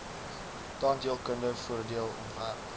tandheelkunde voordeel ontwerp